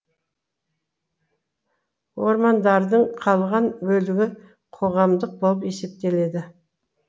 ормандардың қалған бөлігі қоғамдық болып есептеледі